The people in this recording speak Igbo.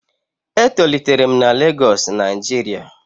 E tolitere'm na Lagosu Nijiria